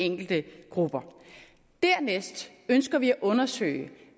enkelte grupper dernæst ønsker vi at undersøge